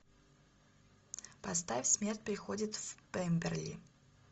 поставь смерть приходит в пемберли